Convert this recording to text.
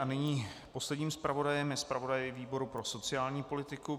A nyní posledním zpravodajem je zpravodaj výboru pro sociální politiku.